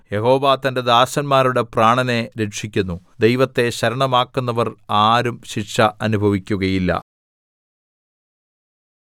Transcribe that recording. യഹോവ തന്റെ ദാസന്മാരുടെ പ്രാണനെ രക്ഷിക്കുന്നു ദൈവത്തെ ശരണമാക്കുന്നവർ ആരും ശിക്ഷ അനുഭവിക്കുകയില്ല